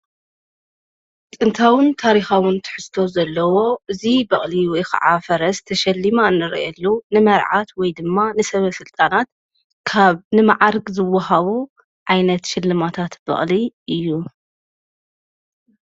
ጥንታውን ታሪኻውን ትሕዝቶ ዘለዎ እዙይ በቕሊ ወይ ኸዓ ፈረስ ተሸሊማ እንረየሉ ንመርዓት ወይ ድማ ንሰብ ሥልጣናት ካብ ንመዓርግ ዝወሃቦ ዓይነት ሽለማታት በቕሊ እዩ::